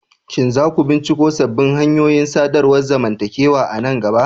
Shin za ku binciko sabbin hanyoyin sadarwar zamantakewa a nan gaba?